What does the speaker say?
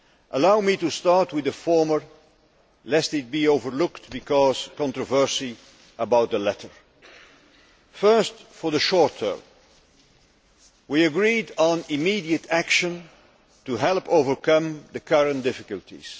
Allow me to start with the former, lest it be overlooked because of controversy about the latter. First, for the short term, we agreed on immediate action to help overcome the current difficulties.